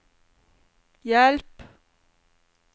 hjelp